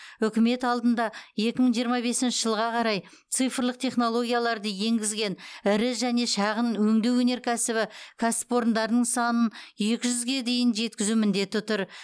үкімет алдында екі мың жиырма бесінші жылға қарай цифрлық технологияларды енгізген ірі және шағын өңдеу өнеркәсібі кәсіпорындарының санын екі жүзге дейін жеткізу міндеті тұр